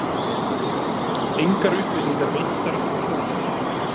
Engar upplýsingar veittar um fund